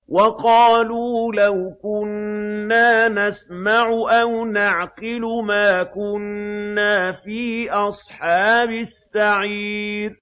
وَقَالُوا لَوْ كُنَّا نَسْمَعُ أَوْ نَعْقِلُ مَا كُنَّا فِي أَصْحَابِ السَّعِيرِ